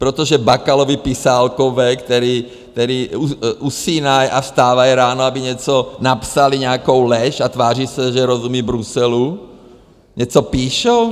Protože Bakalovi pisálkové, kteří usínají a vstávají ráno, aby něco napsali, nějakou lež, a tváří se, že rozumí Bruselu, něco píšou?